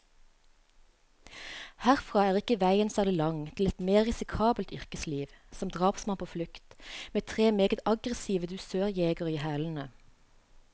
Herfra er ikke veien særlig lang til et mer risikabelt yrkesliv, som drapsmann på flukt, med tre meget aggressive dusørjegere i hælene.